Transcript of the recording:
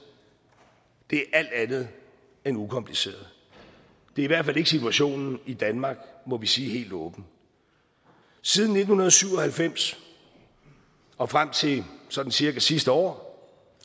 det er alt andet end ukompliceret det er i hvert fald ikke situationen i danmark må vi sige helt åbent siden nitten syv og halvfems og frem til sådan cirka sidste år